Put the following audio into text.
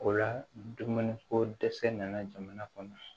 O la dumuni ko dɛsɛ nana jamana kɔnɔ